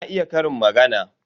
Na iya ƙarin magana.